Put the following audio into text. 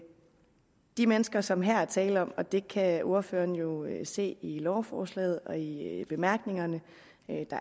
de mennesker som der her er tale om og det kan ordføreren jo se i lovforslaget og i bemærkningerne